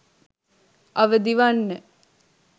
අවදිවන්න